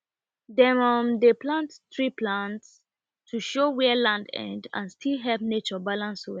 dem um dey plant tree plant tree to show where land end and still help nature balance well